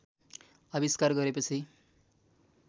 आविष्कार गरेपछि